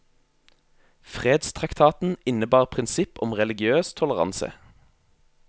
Fredstraktaten innebar prinsipp om religiøs toleranse.